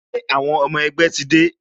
Ṣé àwọn ọmọ ẹgbẹ́ ti dé?